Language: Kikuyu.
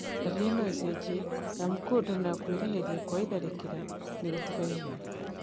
Ndariri noicenjie amu kũndũ na kwĩhĩrĩria kwa itharĩkĩra nĩgũtigaine